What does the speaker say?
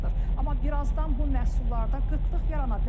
Amma birazdan bu məhsullarda qıtlıq yarana bilər.